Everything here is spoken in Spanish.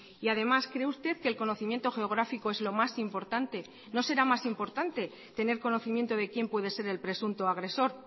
y además cree usted que el conocimiento geográfico es lo más importante no será más importante tener conocimiento de quién puede ser el presunto agresor